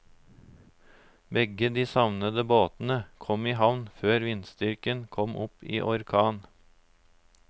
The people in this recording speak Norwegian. Begge de savnede båtene kom i havn før vindstyrken kom opp i orkan.